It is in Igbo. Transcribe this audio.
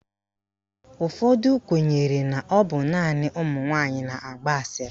Ụfọdụ kwenyere na ọ bụ naanị ụmụnwaanyị na-agba asịrị.